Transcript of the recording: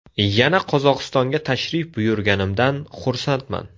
Yana Qozog‘istonga tashrif buyurganimdan xursandman.